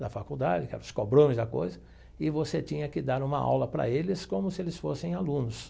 na faculdade, que eram os cobrões da coisa, e você tinha que dar uma aula para eles como se eles fossem alunos.